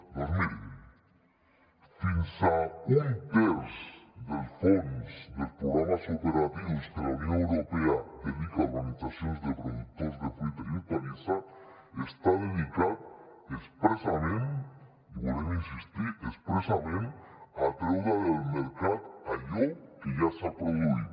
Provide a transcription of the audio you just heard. doncs mirin fins a un terç del fons dels programes operatius que la unió europea dedica a organitzacions de productors de fruita i hortalissa està dedicat expressament i hi volem insistir expressament a treure del mercat allò que ja s’ha produït